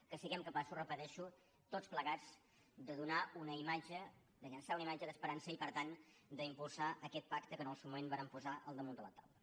que siguem capaços ho repeteixo tots plegats de donar una imatge de llançar una imatge d’esperança i per tant d’impulsar aquest pacte que en el seu moment vàrem posar al damunt de la taula